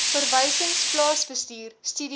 verwysings plaasbestuur studiegroepe